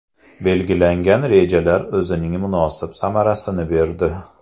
Belgilangan rejalar o‘zining munosib samarasini berdi.